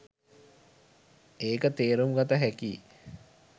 ඒක තේරුම්ගත හැකියි